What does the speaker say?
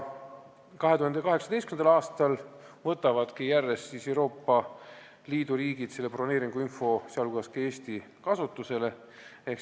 2018. aastal võtavad Euroopa Liidu riigid, sh ka Eesti, selle broneeringuinfo süsteemi järjest kasutusele.